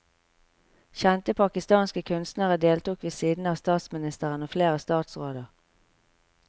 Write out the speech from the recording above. Kjente pakistanske kunstnere deltok ved siden av statsministeren og flere statsråder.